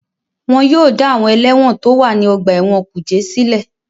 Wọ́n yóò dá àwọn ẹlẹ́wọ̀n tó wà ní ọgbà ẹ̀wọ̀n kùjé sílẹ̀